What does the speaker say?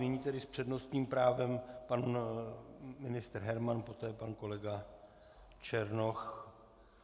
Nyní tedy s přednostním právem pan ministr Herman, poté pan kolega Černoch.